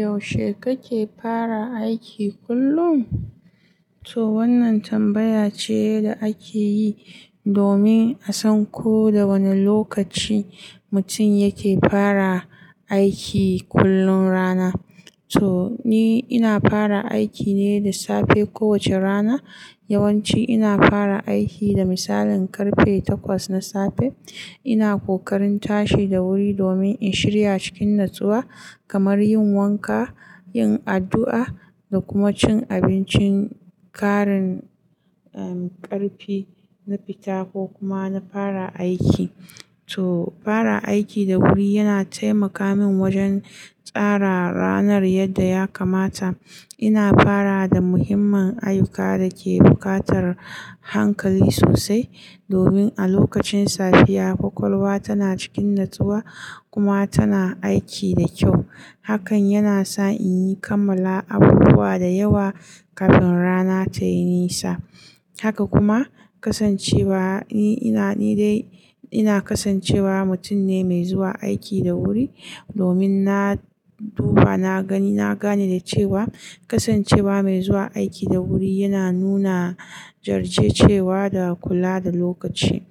Yaushe kake fara aiki kullum? To wannan tambaya ce da ake yi domin a san ko da wane lokaci mutum yake fara aiki kullum rana. To ni ina fara aiki ne da safe kowace rana. Yawanci ina fara aiki da misalin karfe takwas na safe. Ina kokarin tashi da wuri domin in shirya cikin natsuwa kamar yin wanka, yin addu'a da kuma cin abincin ƙarin, um, ƙarfi na fita ko kuma na fara aiki. To fara aiki da wuri yana taimaka min wajen tsara ranar yadda ya kamata. Ina fara da muhimman ayyuka da ke buƙatar hankali sosai domin a lokacin safiya ƙwaƙwalwa tana cikin natsuwa kuma tana aiki da kyau. Hakan yana sa in yi kammala abubuwa da yawa kafin rana tayi nisa. Haka kuma ƙasancewa, ni ina, ni dai ina kasancewa mutum ne mai zuwa aiki da wuri domin na duba na gani, na gane da cewa ƙasancewa mai zuwa aiki da wuri yana nuna jajircewa da kula da lokaci.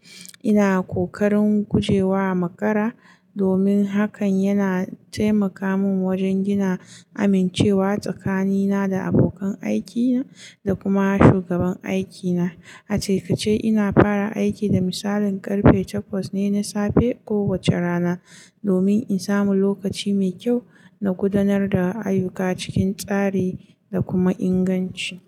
Ina ƙoƙarin guje wa makara domin hakan yana taimaka min wajen gina amincewa tsakanina da abokan aikina da kuma shugaban aikina. A taƙaice ina fara aiki da misalin karfe takwas ne na safe kowace rana domin in samu lokaci mai kyau na gudanar da ayyuka cikin tsari da kuma inganci.